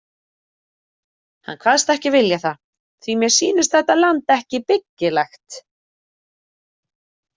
Hann kvaðst ekki vilja það- „því mér sýnist þetta land ekki byggilegt“